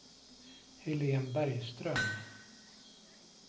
Helene Bergström